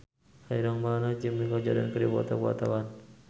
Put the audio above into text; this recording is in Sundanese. Ireng Maulana jeung Michael Jordan keur dipoto ku wartawan